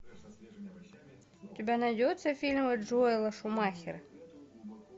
у тебя найдется фильмы джоэла шумахера